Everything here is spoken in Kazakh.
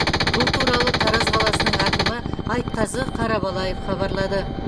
бұл туралы тараз қаласының әкімі айтқазы қарабалаев хабарлады